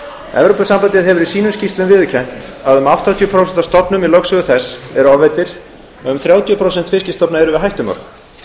evrópusambandið hefur í sínum skýrslum viðurkennt að um áttatíu prósent af stofnum í lögsögu þess eru ofveidd og að um þrjátíu prósent fiskstofna eru við hættumörk